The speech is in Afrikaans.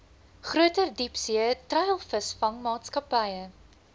groter diepsee treilvisvangmaatskappye